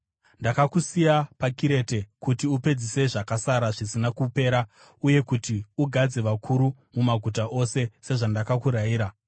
Ndakakusiya paKirete kuti upedzise zvakasara zvisina kupera uye kuti ugadze vakuru mumaguta ose, sezvandakakurayira.